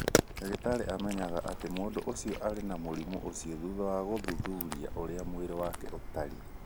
Ndagĩtarĩ amenyaga atĩ mũndũ ũcio arĩ na mũrimũ ũcio thutha wa gũthuthuria ũrĩa mwĩrĩ wake ũtariĩ.